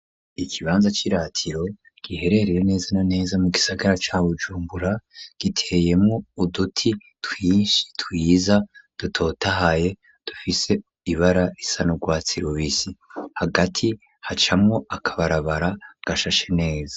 Ikibanza c'iratiro giherereye neza na neza mu gisagara ca Bujumbura giteyemwo uduti twinshi twiza dutotahaye dufise ibara risa n'urwatsi rubisi. Hagati hacamwo akabarabara gashashe neza.